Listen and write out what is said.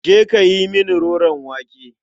Je ka yi mini roron wake.